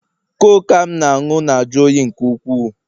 Coke a m na-aṅụ na-ajụ oyi nke ukwuu